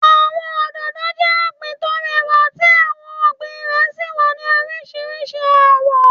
Àwọn òdòdó jẹ ọgbín tó rẹwà tí àwọn irúgbìn rẹ sí wá ní oríṣiríṣi awọ̀.